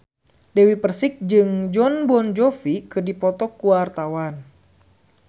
Dewi Persik jeung Jon Bon Jovi keur dipoto ku wartawan